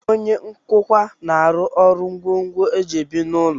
Onye nkụkwa na-arụ ngwongwo e ji ebi n'ụlọ